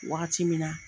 Wagati min na